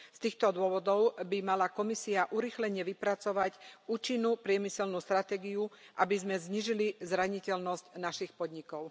Z týchto dôvodov by mala Komisia urýchlene vypracovať účinnú priemyselnú stratégiu, aby sme znížili zraniteľnosť našich podnikov.